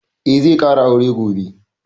Eh, zai ƙara aure gobe